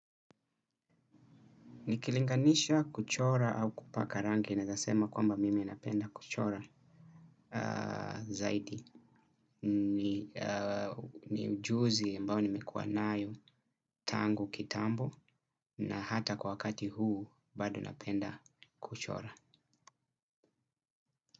Nikilinganisha kuchora au kupaka rangi naezasema kwamba mimi napenda kuchora zaidi. Ni ujuzi ambao nimekuwa nayo tangu kitambo na hata kwa wakati huu bado napenda kuchora.